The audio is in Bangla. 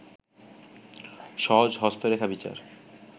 সহজ হস্তরেখা বিচার